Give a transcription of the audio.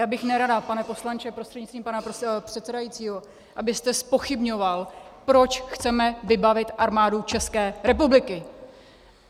Já bych nerada, pane poslanče prostřednictvím pana předsedajícího, abyste zpochybňoval, proč chceme vybavit Armádu České republiky.